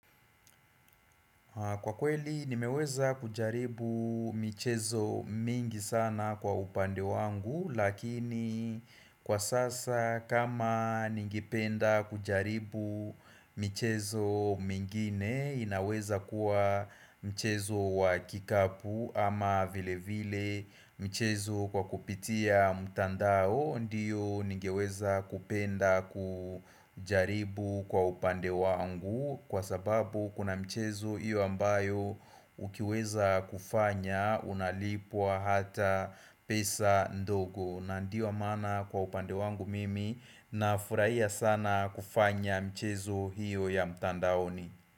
Kwa kweli nimeweza kujaribu michezo mingi sana kwa upande wangu lakini kwa sasa kama ningependa kujaribu michezo mingine inaweza kuwa mchezo wa kikapu ama vile vile mchezo kwa kupitia mtandao ndiyo ningeweza kupenda kujaribu kwa upande wangu Kwa sababu kuna mchezo hiyo ambayo ukiweza kufanya unalipwa hata pesa ndogo na ndio maana kwa upande wangu mimi nafurahia sana kufanya mchezo hiyo ya mtandaoni.